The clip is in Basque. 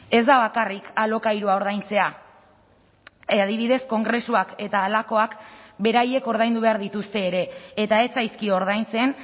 ez da bakarrik alokairua ordaintzea adibidez kongresuak eta halakoak beraiek ordaindu behar dituzte ere eta ez zaizkio ordaintzen